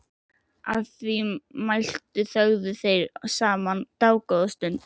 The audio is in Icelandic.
Að því mæltu þögðu þeir saman dágóða stund.